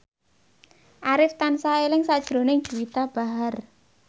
Arif tansah eling sakjroning Juwita Bahar